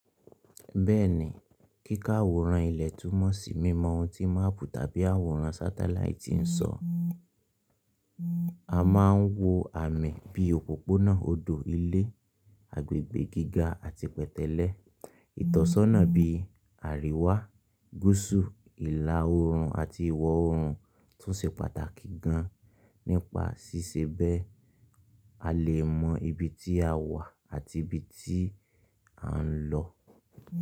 Bẹ́ẹ̀ni, kíká àwòrán ilẹ̀ túmọ̀ sí mímọ ohun tí máàpù tàbí àwòrán sátáláìtì ń sọ. A máa ń wo àmì bí òpópónà, odò, ilé, agbègbè gíga àti pẹtẹlẹ. Ìtọ́sọ́nà bí àríwá, gúúsù, ìlà oòrùn àti ìwọ̀ oòrùn tún ṣe pàtàkì gan nípa ṣíṣẹ́ bẹ́ẹ̀, a lè mọ ibi tí a wà àti ibi tí à ń lọ.